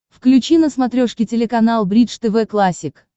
включи на смотрешке телеканал бридж тв классик